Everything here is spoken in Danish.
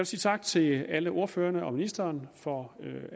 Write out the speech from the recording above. sige tak til alle ordførerne og ministeren for